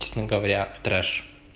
честно говоря трэш